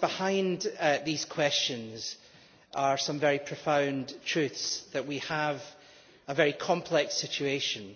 Behind these questions are some profound truths. We have a very complex situation